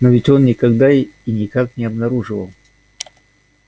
но ведь он никогда и никак не обнаруживал